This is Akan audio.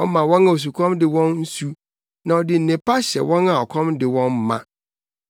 ɔma wɔn a osukɔm de wɔn nsu na ɔde nnepa hyɛ wɔn a ɔkɔm de wɔn ma.